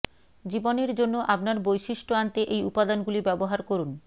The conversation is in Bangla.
জীবনের জন্য আপনার বৈশিষ্ট্য আনতে এই উপাদানগুলি ব্যবহার করুন